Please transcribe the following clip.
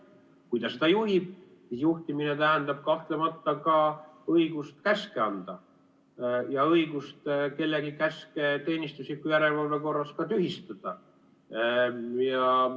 Kui ta seda juhib, juhtimine tähendab kahtlemata õigust käske anda ja õigust kellegi käske teenistusliku järelevalve korras ka tühistada.